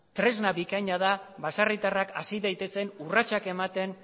tresna bikaina da baserritarrak hasi daitezen urratsak ematen